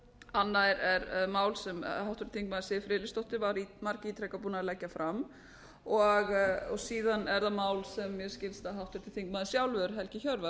annað er mál sem háttvirtur þingmaður siv friðleifsdóttir var margítrekað búin að leggja fram og síðan er það mál sem mér skilst að háttvirtur þingmaður sjálfur helgi hjörvar